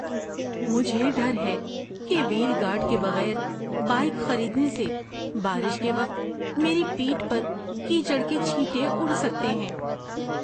مجھے ڈر ہے کہ وہیل گارڈ کے بغیر بائیک خریدنے سے بارش کے وقت میری پیٹھ پر کیچڑ کے چھینٹے اُڑ سکتے ہیں۔